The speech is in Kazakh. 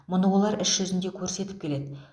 мұны олар іс жүзінде көрсетіп келеді